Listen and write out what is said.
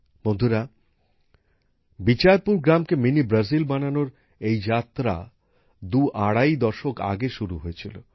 বন্ধুরা বিচারপুর গ্রামকে mini Brazil বানানোর এই যাত্রা দুআড়াই দশক আগে শুরু হয়েছিল